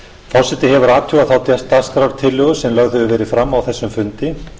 forseti hefur athugað þá dagskrártillögu sem lögð hefur verið fram á þessum fundi